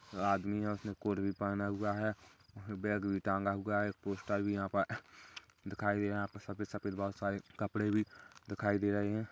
आदमी है उसने कोट भी पहन हुआ है बैग भी टाँगा हुआ है पोस्टर भी यहाँ पर दिखाई दे रहा है यहां पे सफ़ेद सफ़ेद बोहोत सारे कपड़े भी दिखाई दे रहे हैं।